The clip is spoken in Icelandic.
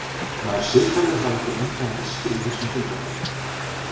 Nær siðferðið þá ekki lengra en veskið í þessum tilfellum?